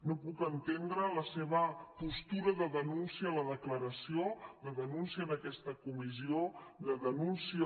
no puc entendre la seva postura de denúncia de la declaració de denúncia d’aquesta comissió de denúncia